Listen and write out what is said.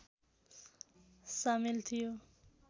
सामेल थियो